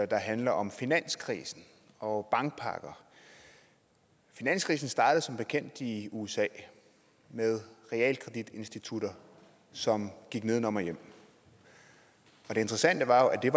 der handler om finanskrisen og bankpakker finanskrisen startede som bekendt i usa med realkreditinstitutter som gik nedenom og hjem og det interessante var jo at det